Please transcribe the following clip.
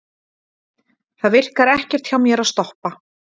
Það virkar ekkert hjá mér að stoppa.